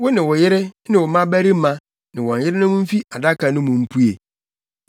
“Wo ne wo yere ne wo mmabarima ne wɔn yerenom mfi Adaka no mu mpue.